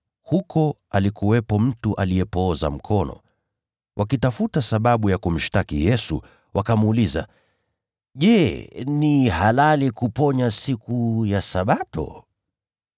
na huko alikuwepo mtu aliyepooza mkono. Wakitafuta sababu ya kumshtaki Yesu, wakamuuliza, “Je, ni halali kuponya siku ya Sabato?”